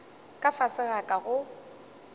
ka fase ga ka go